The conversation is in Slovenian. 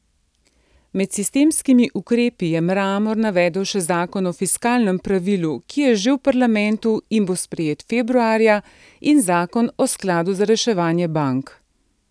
Med sistemskimi ukrepi je Mramor navedel še zakon o fiskalnem pravilu, ki je že v parlamentu in bo sprejet februarja, in zakon o skladu za reševanje bank.